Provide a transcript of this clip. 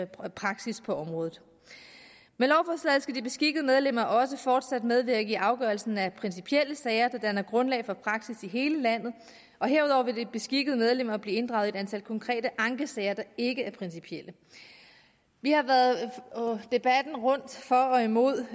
praksis på området med lovforslaget skal de beskikkede medlemmer også fortsat medvirke i afgørelsen af principielle sager der danner grundlag for praksis i hele landet og herudover vil de beskikkede medlemmer bliver inddraget i et antal konkrete ankesager der ikke er principielle vi har været debatten rundt for og imod